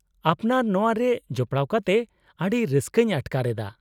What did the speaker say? -ᱟᱯᱱᱟᱨ ᱱᱚᱶᱟ ᱨᱮ ᱡᱚᱯᱲᱟᱣ ᱠᱟᱛᱮ ᱟᱹᱰᱤ ᱨᱟᱹᱥᱠᱟᱹᱧ ᱟᱴᱠᱟᱨ ᱮᱫᱟ ᱾